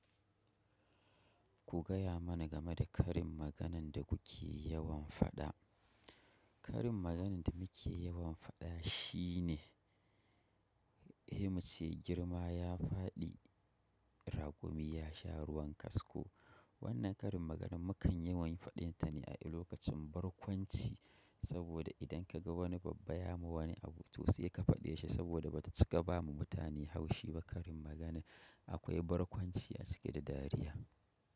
Ku gaya mana game da karin maganan da kuke yawan faɗa. Karin maganan da nake yawan faɗa shine, he muce girma ya faɗi, ragumi ya sha ruwan kasko. Wannan karin magana mukan yawan faɗin ta ne a lokacin barkwanci, saboda idan ka ga wani babba ya ma wani abu to sai ka faɗe shi saboda bata cika ba ma mutane haushi ba. Karin maganar akwai barkwanci a ciki da dariya.